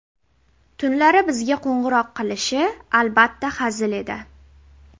Tunlari bizga qo‘ng‘iroq qilishi, albatta, hazil edi.